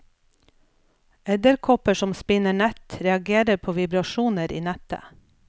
Edderkopper som spinner nett reagerer på vibrasjoner i nettet.